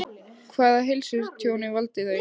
Hvaða heilsutjóni valda þau?